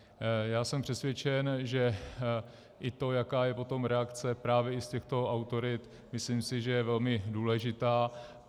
Já jsem přesvědčen, že i to, jaká je potom reakce právě i z těchto autorit, myslím si, že je velmi důležitá.